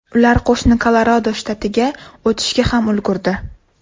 Ular qo‘shni Kolorado shtatiga o‘tishga ham ulgurdi.